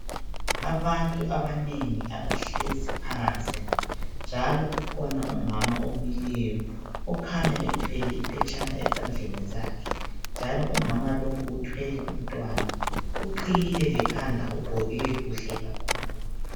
Abantu abanengi abahlezi phansi, njalo kukhona umama omileyo okhanya ethwele iphetshana esandleni sakhe, njalo umama lowo uthwele umntwana, uqhiyile lekhanda ugqoke kuhle kakhulu.